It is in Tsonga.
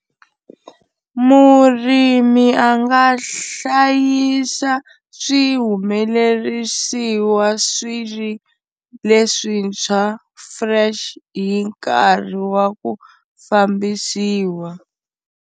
Murimi a nga hlayisa swihumelerisiwa swi ri leswintshwa fresh hi nkarhi wa ku fambisiwa.